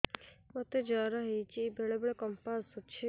ମୋତେ ଜ୍ୱର ହେଇଚି ବେଳେ ବେଳେ କମ୍ପ ଆସୁଛି